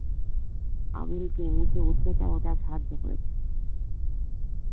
আমিরুলকে উঁচু উচ্চতার উঠার সাধ্য পেয়েছে